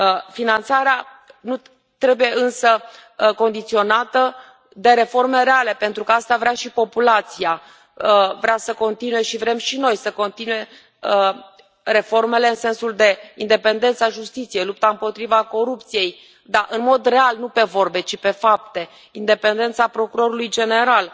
Finanțarea trebuie, însă, condiționată de reforme reale pentru că asta vrea și populația, vrea să continue și vrem și noi să continue reformele în sensul de independența justiției, lupta împotriva corupției, dar în mod real, nu pe vorbe, ci pe fapte, independența procurorului general,